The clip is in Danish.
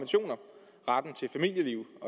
retten til familieliv